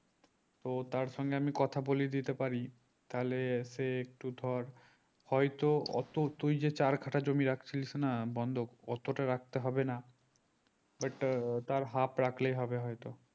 তো তার সঙ্গে আমি কথা বলিয়ে দিতে পারি তাহলে সে একটু ধর হয় তো ওতো তুই যে চার কাঠা জমি রাকছিলিস না বন্দক অতটা রাখতে হবে না but তার half রাখলেই হবে হয়তো